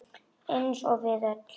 Eins og við öll.